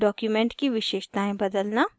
* document की विशेषतायें बदलना